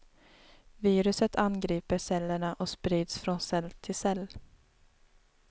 Viruset angriper cellerna och sprids från cell till cell.